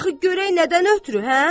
Axı görək nədən ötrü, hə?